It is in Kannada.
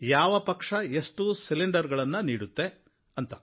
ಯಾವ ಪಕ್ಷ ಎಷ್ಟು ಸಿಲಿಂಡರ್ ಗಳನ್ನು ನೀಡುತ್ತೆ ಅಂತ